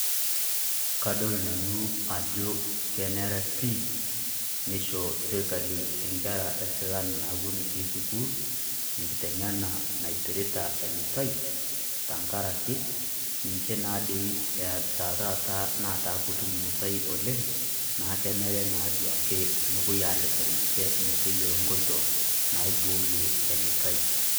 Kadol nanu ajo kenere pii neishoo sirkali enkerra esilaan newueni etii sukuul enkiteng'ena naipirrita enutai tang'araki ninchee naa dei eata taata naata kotuum nutai oleng, naa kenere naa duake nopoi areeten ninchee metoyoolo nkotoo naibooye enutai.